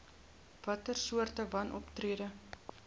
watter soorte wanoptrede